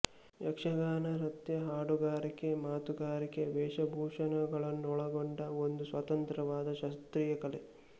ಯಕ್ಷಗಾನ ನೃತ್ಯ ಹಾಡುಗಾರಿಕೆ ಮಾತುಗಾರಿಕೆ ವೇಷಭೂಷಣಗಳನ್ನೊಳಗೊಂಡ ಒಂದು ಸ್ವತಂತ್ರವಾದ ಶಾಸ್ತ್ರೀಯ ಕಲೆ